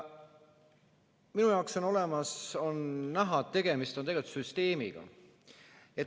Minu jaoks on näha, et tegemist on tegelikult süsteemiga.